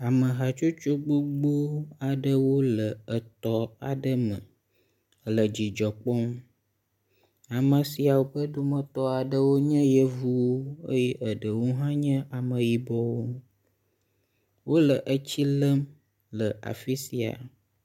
Ame hatsotso gbogbo aɖewo le etɔ aɖe me le dzidzɔ kpɔm. ame siawo ƒe dometɔ aɖewo nye yevuwo eye eɖewo hã nye ameyibɔwo. Wo le etsi lem le afi sia.